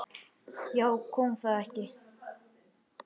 Já, kom það ekki!